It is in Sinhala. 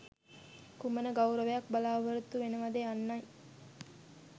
කුමන ගෞරවයක් බලාපොරොත්තු වෙනවද යන්නයි.